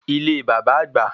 Ile bàbá àgbà